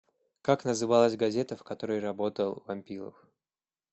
как называлась газета в которой работал вампилов